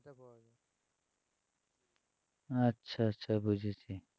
আচ্ছা আচ্ছা বুঝেছি